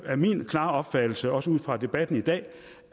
er min klare opfattelse også ud fra debatten i dag